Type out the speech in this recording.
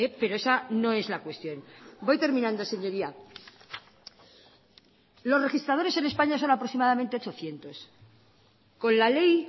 pero esa no es la cuestión voy terminando señoría los registradores en españa son aproximadamente ochocientos con la ley